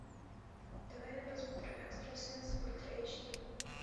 давай я посмотрю экстрасенс ультра эйч ди